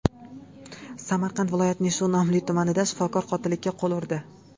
Samarqand viloyatining shu nomli tumanida shifokor qotillikka qo‘l urdi.